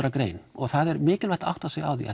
að grein og það er mikilvægt að átta sig á því